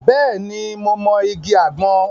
Bẹ́ẹ̀ ni, mo mọ igi àgbọn.